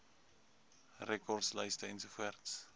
rekords lyste ens